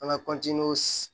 An bɛ